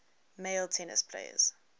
male tennis players